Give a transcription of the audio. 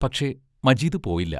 പക്ഷേ, മജീദ് പോയില്ല.